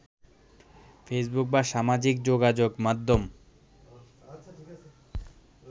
Facebook বা সামাজিক যোগাযোগ মাধ্যম